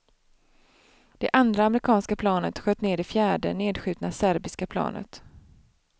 Det andra amerikanska planet sköt ned det fjärde nedskjutna serbiska planet.